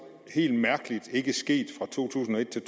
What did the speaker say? ikke sket fra to tusind og et til